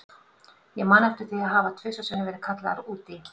Ég man eftir því að hafa tvisvar sinnum verið kallaður út í